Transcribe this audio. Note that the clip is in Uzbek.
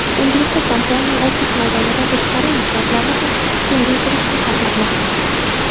Endilikda kompaniya ofis maydonidan tashqari inshootlarni ham kengaytirishni xohlamoqda.